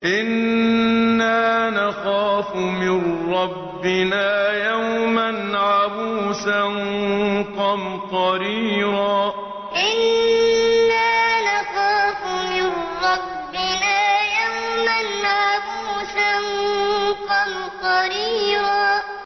إِنَّا نَخَافُ مِن رَّبِّنَا يَوْمًا عَبُوسًا قَمْطَرِيرًا إِنَّا نَخَافُ مِن رَّبِّنَا يَوْمًا عَبُوسًا قَمْطَرِيرًا